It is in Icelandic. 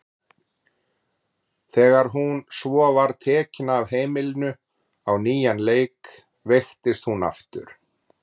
Þegar hún svo var tekin af heimilinu á nýjan leik veiktist hún aftur.